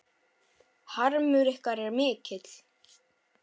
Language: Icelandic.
Harmur ykkar er mikill.